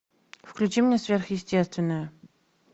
включи мне сверхъестественное